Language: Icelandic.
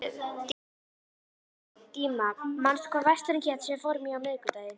Díma, manstu hvað verslunin hét sem við fórum í á miðvikudaginn?